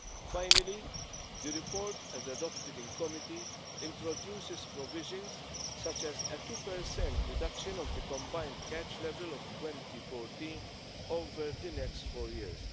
Finally, the report, as adopted in committee, introduces provisions such as a 2 reduction of the combined catch level of 2014 over the next four years.